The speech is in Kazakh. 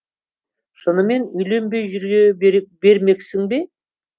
шынымен үйленбей жүре бермексің бе